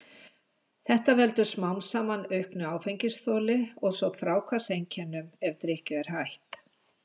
Þetta veldur smám saman auknu áfengisþoli og svo fráhvarfseinkennum ef drykkju er hætt.